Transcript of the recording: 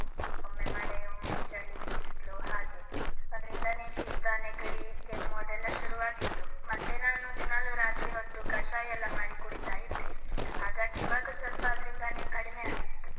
ಒಮ್ಮೆ ಮಳೆ, ಒಮ್ಮೆ ಚಳಿ, ಬಿಸ್ಲು ಹಾಗೆ ಅದ್ರಿಂದಾನೇ ಶೀತ, ನೆಗಡಿ, ಕೆಮ್ಮು ಅದೆಲ್ಲ ಶುರುವಾಗಿದ್ದು. ಮತ್ತೆ ನಾನು ದಿನಾಲೂ ರಾತ್ರಿ ಹೊತ್ತು ಕಷಾಯ ಎಲ್ಲ ಮಾಡಿ ಕುಡಿತಾ ಇದ್ದೆ, ಹಾಗಾಗಿ ಇವಾಗ ಸ್ವಲ್ಪ ಅದ್ರಿಂದಾನೆ ಕಡಿಮೆ ಆಗಿದ್ದು.